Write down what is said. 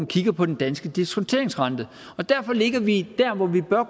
kigger på den danske diskonteringsrente og derfor ligger vi der hvor vi bør